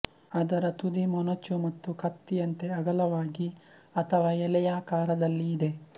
ಅದರ ತುದಿ ಮೊನಚು ಮತ್ತು ಕತ್ತಿಯಂತೆ ಅಗಲವಾಗಿ ಅಥವಾ ಎಲೆಯಾಕಾರದಲ್ಲಿ ಇದೆ